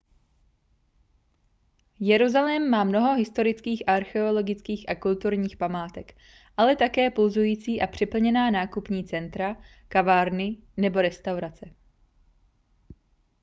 jeruzalém má mnoho historických archeologických a kulturních památek ale také pulzující a přeplněná nákupní centra kavárny nebo restaurace